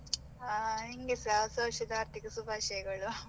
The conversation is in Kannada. ಆ ನಿಂಗೆಸ, ಹೊಸ ವರ್ಷದ ಹಾರ್ದಿಕ ಶುಭಾಶಯಗಳು .